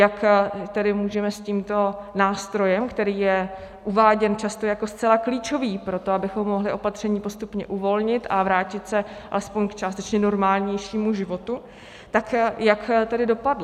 Jak tedy můžeme s tímto nástrojem, který je uváděn často jako zcela klíčový pro to, abychom mohli opatření postupně uvolnit a vrátit se aspoň k částečně normálnějšímu životu, tak jak tedy dopadl.